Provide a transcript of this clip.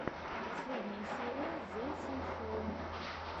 последняя серия зэ синшоу